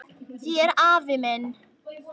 Þér afi minn.